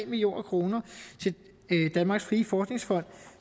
million kroner til danmarks frie forskningsfond